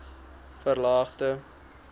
varelagte